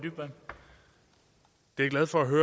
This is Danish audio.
det er jo sådan